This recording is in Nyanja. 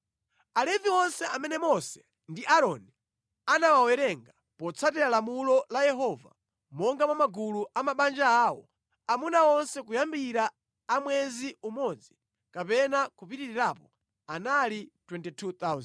Alevi onse amene Mose ndi Aaroni anawawerenga potsatira lamulo la Yehova monga mwa magulu a mabanja awo, amuna onse kuyambira a mwezi umodzi kapena kupitirirapo anali 22,000.